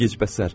Ay gecbəsər.